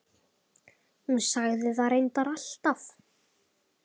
Hún sagði það reyndar alltaf.